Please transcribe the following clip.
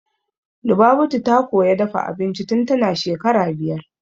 Lubabatu ta koya dafa abinci tun tana shekara biyar